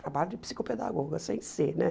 Trabalho de psicopedagoga sem ser, né?